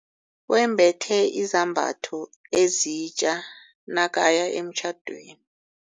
Wembethe izambatho ezitja nakaya emtjhadweni.